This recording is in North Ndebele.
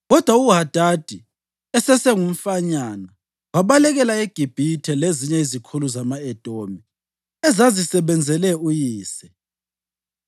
Kodwa uHadadi, esesengumfanyana, wabalekela eGibhithe lezinye izikhulu zama-Edomi ezazisebenzele uyise.